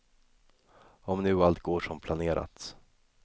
Om nu allt går som planerat.